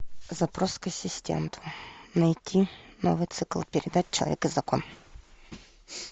запрос к ассистенту найти новый цикл передач человек и закон